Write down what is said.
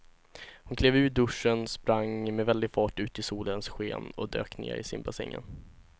Hon klev ur duschen, sprang med väldig fart ut i solens sken och dök ner i simbassängen.